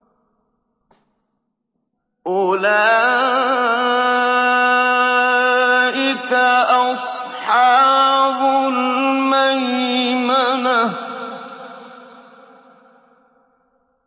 أُولَٰئِكَ أَصْحَابُ الْمَيْمَنَةِ